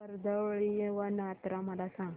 कर्दळीवन यात्रा मला सांग